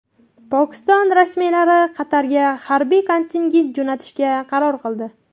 Pokiston rasmiylari Qatarga harbiy kontingent jo‘natishga qaror qildi.